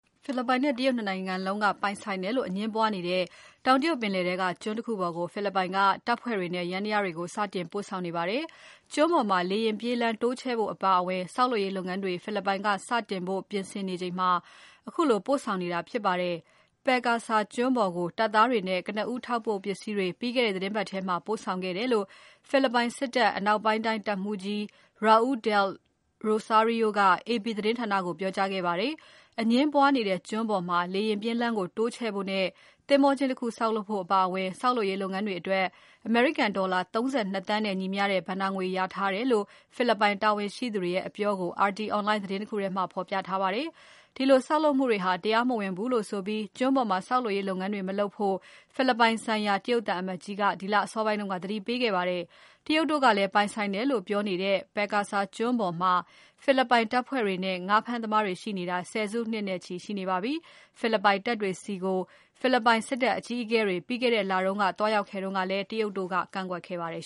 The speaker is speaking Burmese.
ဖိလစ်ပိုင်နဲ့ တရုတ် ၂ နိုင်ငံလုံးပိုင်ဆိုင်တယ်လို့အငြင်းပွားနေကြတဲ့ တောင်တရုတ်ပင်လယ်ထဲက ကျွန်းပေါ်ကို ဖိလစ်ပိုင်က တပ်ဖွဲ့တွေနဲ့ ယန္တရားတွေကို စတင်ပို့ဆောင်နေပါတယ်။ ကျွန်းပေါ်မှာ လေယာဉ်ပြေးလမ်းတိုးချဲ့ဖို့အပါအဝင် ဆောက်လုပ်ရေးလုပ်ငန်းတွေ ဖိလစ်ပိုင်က စတင်ဖို့ ပြင်ဆင်နေချိန်မှာ ခုလိုပို့ဆောင်နေတာဖြစ်ပါတယ်။ Pag-asa ကျွန်းပေါ်ကို တပ်သားတွေနဲ့ ကနဦးထောက်ပို့ပစ္စည်းတွေ ပြီးခဲ့တဲ့သီတင်းပတ်မှာ ပို့ဆောင်ခဲ့တယ်လို့ ဖိလစ်ပိုင်စစ်တပ် အနောက်ပိုင်းတိုင်းတပ်မှူးကြီး Raul del Rosario က AP သတင်းဌာနကို ပြောကြားခဲ့ပါတယ်။ အငြင်းပွားနေတဲ့ကျွန်းပေါ်မှာ လေယာဉ်ပြေးလမ်းကို တိုးချဲ့ဖို့နဲ့ သင်္ဘောကျင်းတခုဆောက်လုပ်ဖို့အပါအဝင် ဆောက်လုပ်ရေးလုပ်ငန်းတွေအတွက် အမေရိကန်ဒေါ်လာ ၃၂ သန်းနဲ့ ညီမျှတဲ့ ဘဏ္ဍာငွေလျာထားတယ်လို့ ဖိလစ်ပိုင်တာဝန်ရှိသူတွေရဲ့ အပြောကို RT online သတင်းတခုထဲမှာ ဖော်ပြထားပါတယ်။ ဒီလိုဆောက်လုပ်မှုတွေဟာ တရားမဝင်ဘူးလို့ဆိုပြီး ကျွန်းပေါ်မှာဆောက်လုပ်ရေးလုပ်ငန်းတွေ မလုပ်ဖို့ ဖိလစ်ပိုင်ဆိုင်ရာ တရုတ်သံအမတ်ကြီးက ဒီလအစောပိုင်းက သတိပေးခဲ့ပါတယ်။ တရုတ်တို့ကလည်း ပိုင်ဆိုင်တယ်လို့ ပြောနေတဲ့ Pag-asa ကျွန်းပေါ်မှာ ဖိလစ်ပိုင်တပ်ဖွဲ့တွေနဲ့ ငါးဖမ်းသမားတွေရှိနေတာ ဆယ်စုနှစ်နဲ့ချီရှိနေပါပြီ။ ဖိလစ်ပိုင်တပ်တွေဆီကို ဖိလစ်ပိုင် စစ်တပ်အကြီးအကဲတွေ ပြီးခဲ့တဲ့လက သွားရောက်ခဲ့တုန်းကလည်း တရုတ်တို့က ကန့်ကွက်ခဲ့ပါတယ်